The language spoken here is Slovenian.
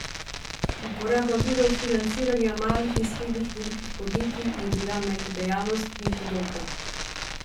Uporaba virov financiranja malih in srednje velikih podjetij je bila med dejavnostmi podobna.